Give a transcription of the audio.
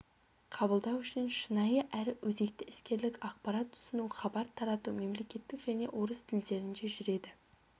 қабылдау үшін шынайы әрі өзекті іскерлік ақпарат ұсыну хабар тарату мемлекеттік және орыс тілдерінде жүреді